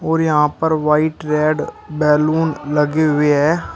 और यहां पर व्हाइट रेड बैलून लगे हुए हैं।